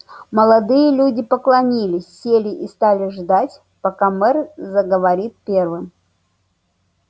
молодые люди поклонилась сели и стали ждать пока мэр заговорит первым